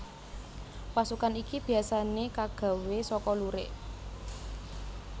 Rasukan iki biyasané kagawé saka lurik